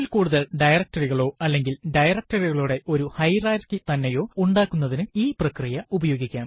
ഒന്നിൽ കൂടുതൽ directory കളോ അല്ലെങ്കിൽ directory കളുടെ ഒരു ഹയറാർക്കി തന്നെയോ ഉണ്ടാക്കുന്നതിനു ഈ പ്രക്രിയ ഉപയോഗിക്കാം